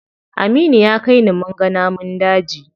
Aminu ya kai ni munga namun daji.